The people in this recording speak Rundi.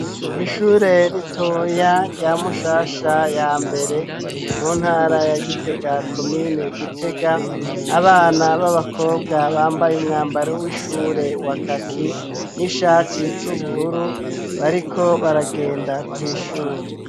Ishure ritoya rya Mushasha ya mbere mu ntara ya Gitega, komine Gitega, abana b'abakobwa bambaye umwambaro w'ishure wa kaki n'ishati z'ubururu, bariko baragenda kw'ishure.